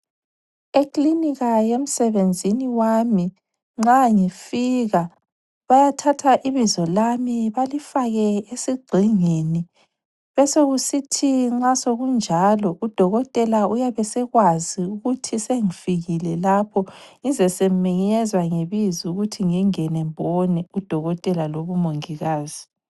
Eklinika yemsebenzini wami nxa ngifika bayathatha ibizo lami balifake esigxingini besesokusithi nxa sokunjalo udokotela uyabe esekwazi ukuthi sengifikile lapho ngizwe sengimenyezwa ngebizo ukuthi ngingene ngibone udokotela loba umongikazi.